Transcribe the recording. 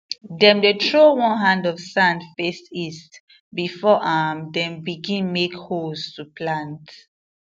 dem dey throw one hand of sand face east before um them begin make holes to plant